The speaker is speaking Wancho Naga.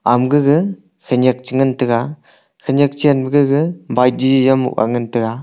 ama gaga khanyak chengan tega khanyak chen ma gaga bai di zam angan tega.